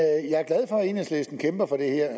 enhedslisten kæmper for det her